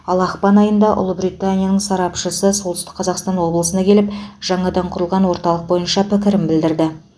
ал ақпан айында ұлыбританияның сарапшысы солтүстік қазақстан облысына келіп жаңадан құрылған орталық бойынша пікірін білдіреді